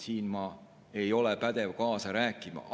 Siin ma ei ole pädev kaasa rääkima.